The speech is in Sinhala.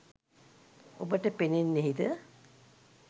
ඔබට පෙනෙන්නෙහිද?